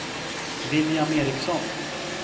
William Eriksson